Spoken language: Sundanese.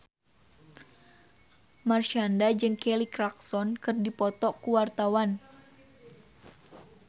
Marshanda jeung Kelly Clarkson keur dipoto ku wartawan